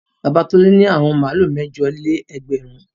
Baba Tolú ní àwọn màlúù mẹ́jọ-lé-ẹgbẹ̀rún.